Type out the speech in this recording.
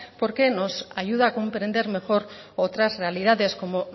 porque nos ayuda a comprender mejor otras realidades como